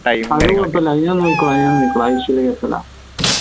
അത് കുഴപ്പല്ല ഞാൻ നോക്കിക്കോളാ ഞാൻ നോക്കിക്കോളാ അത് വിഷയള്ള case അല്ല